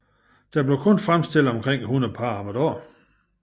Der blev kun fremstillet omkring 100 par om dagen